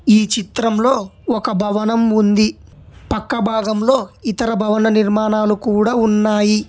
ఈ చిత్రంలో ఒక భవనం ఉంది పక్క భాగంలో ఇతర భవన నిర్మాణాలు కూడా ఉన్నాయి.